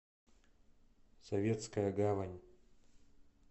советская гавань